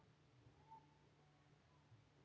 Þórir: Og hvað gerist?